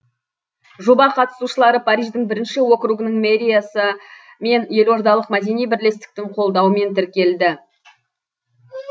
жоба қатысушылары париждің бірінші округінің мэриясы мен елордалық мәдени бірлестіктің қолдауымен тірікелді